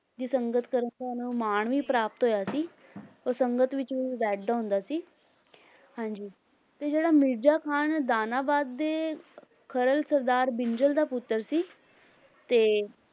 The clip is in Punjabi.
ਦੀ ਸੰਗਤ ਕਰਨ ਦਾ ਇਹਨਾਂ ਨੂੰ ਮਾਣ ਵੀ ਪ੍ਰਾਪਤ ਹੋਇਆ ਸੀ ਉਹ ਸੰਗਤ ਵਿੱਚ ਵੀ ਬੈਠਦਾ ਹੁੰਦਾ ਸੀ ਹਾਂਜੀ ਤੇ ਜਿਹੜਾ ਮਿਰਜ਼ਾ ਖ਼ਾਨ ਦਾਨਾਬਾਦ ਦੇ ਖਰਲ ਸਰਦਾਰ ਬਿੰਜਲ ਦਾ ਪੁੱਤਰ ਸੀ ਤੇ